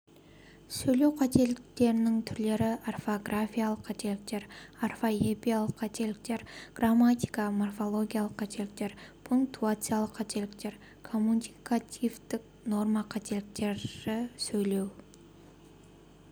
сөйлеу қателіктерінің түрлері орфографиялық қателіктер орфоэпиялық қателіктер грамматика-морфологиялық қателіктер пунктуациялық қателіктер коммуникативтік норма қателіктері сөйлеу